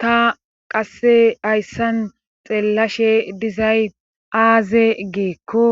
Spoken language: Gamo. Ta qasse hayssan xeellashe dizay aaze geekko